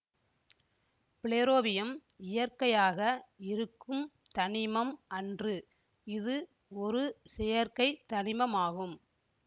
flerovium இயற்கையாக இருக்கும் தனிமம் அன்று இது ஒரு செயற்கைத் தனிமமாகும்